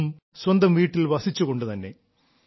അതും സ്വന്തം വീട്ടിൽ വസിച്ചുകൊണ്ടു തന്നെ